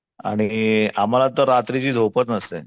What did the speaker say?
आणि महाल तर रात्रीची झोपच नसते.